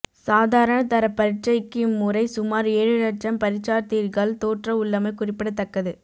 சாதாரண தரப் பரீட்சைக்கு இம்முறை சுமார் ஏழு லட்சம் பரீட்சார்த்திகள் தோற்ற உள்ளமை குறிப்பிடத்தக்கது